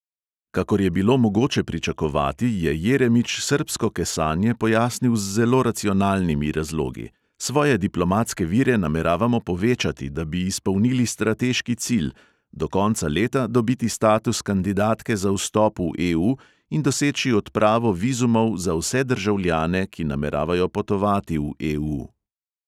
Kakor je bilo mogoče pričakovati, je jeremič srbsko kesanje pojasnil z zelo racionalnimi razlogi: "svoje diplomatske vire nameravamo povečati, da bi izpolnili strateški cilj – do konca leta dobiti status kandidatke za vstop v EU in doseči odpravo vizumov za vse državljane, ki nameravajo potovati v EU."